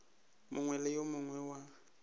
mongwe le yo mongwe wa